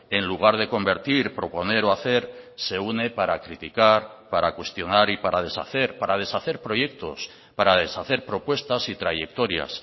en lugar de convertir proponer o hacer se une para criticar para cuestionar y para deshacer para deshacer proyectos para deshacer propuestas y trayectorias